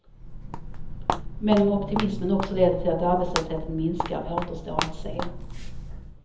Men om optimismen också leder till att arbetslösheten minskar återstår att se.